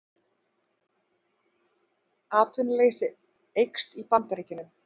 Atvinnuleysi eykst í Bandaríkjunum